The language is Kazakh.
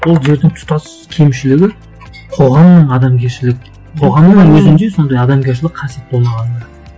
ол жердің тұтас кемшілігі қоғамның адамгершілік қоғамның өзінде сондай адамгершілік қасиет болмағандығы